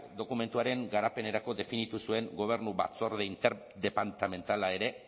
dokumentuaren garapenerako definitu zuen gobernu batzorde interdepartamentala ere